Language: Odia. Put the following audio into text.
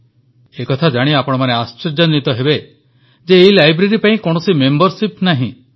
ଏକଥା ଜାଣି ଆପଣମାନେ ଆଶ୍ଚର୍ଯ୍ୟାନ୍ୱିତ ହେବେ ଯେ ଏହି ଲାଇବ୍ରେରୀ ପାଇଁ କୌଣସି ମେମ୍ବରଶିପ୍ ନାହିଁ